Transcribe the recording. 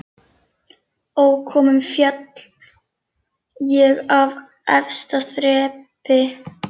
Ókominn féll ég af efsta þrepi